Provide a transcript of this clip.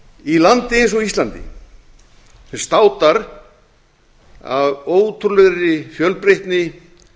í landi eins og íslandi sem státar af ótrúlegri fjölbreytni